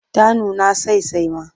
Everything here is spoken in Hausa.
Ta nuna sasai ma.